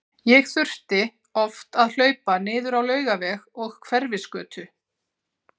Ég þurfti oft að hlaupa niður á Laugaveg og Hverfisgötu.